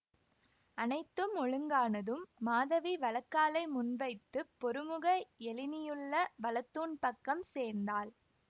அனைத்தும் ஒழுங்கானதும் மாதவி வலக்காலை முன் வைத்து பொருமுக எழினியுள்ள வலத்தூண் பக்கம் சேர்ந்தாள்